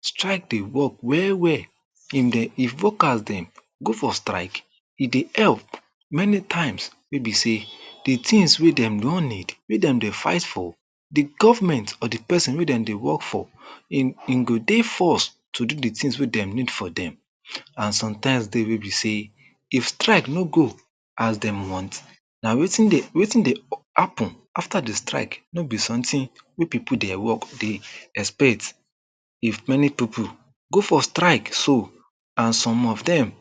strike dey work well well if them if workers dem go for strike e dey help many times wey be sey the tings wey dem wan need wey dem fight for the government na the pesin wey dem dey work for dem go dey forced to the tings wey dem need for dem and some times dey wey be sey if strike no go as dem want na wetin dey wetin dey happen after the strike no be someting wey people dey work dey expect if many people go for srike so and some of dem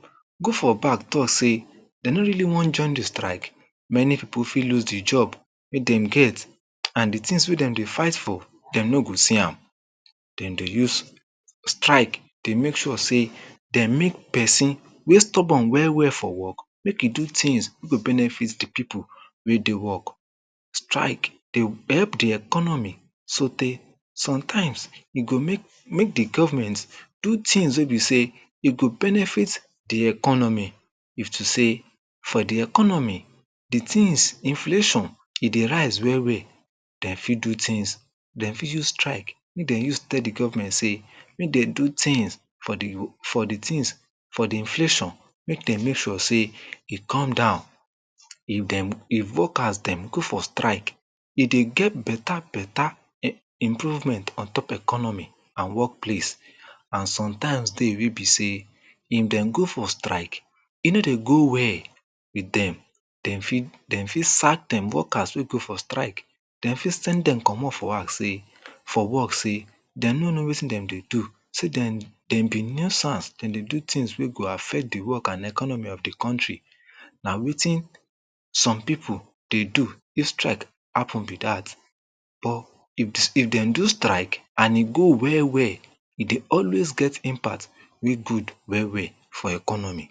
go for back talk sey dey no really wan join the strike many people fit loose the job wey dem get and the tings wey dem dey fight for dem no go see am dem dey use strike dey make sure sey dey make pesin wey stubborn well well for work make e do tings wey go benefit the people make dem work strike dey help the econmy so tey sometimes e go make make the government do tings wey be sey e go benefit th economy if to sey for the economy the tings inflation e dey rise well well dem fit do tings dem fit use strike make dem use tell the government sey make dem do tings for the for the tings for the inflation make dem make sure sey e come down if dem if workers dem go for strike e dey get beta beta improvement ontop economy and workplace and sometimes dey wey be sey if dem go for strike e no dey go well but then dem fit sack dem workers wey go for strike dem fit send them comot for house sey for work sey dem no know wetin dem dey do sey sey dem been no serve dem dey do tings wey go affect the work and economy of the country and wetin some people dey do if strike happen be that or if dem do strike and e go well well e dey always get impact wey good well well for economy.